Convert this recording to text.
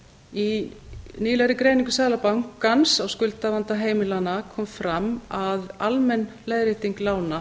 í nýlegri greiningu seðlabankans á skuldavanda heimilanna kom fram að almenn leiðrétting lána